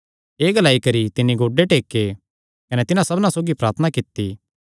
एह़ ग्लाई करी तिन्नी गोड्डे टेके कने तिन्हां सबना सौगी प्रार्थना कित्ती